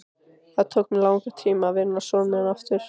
Það tók mig langan tíma að vinna son minn aftur.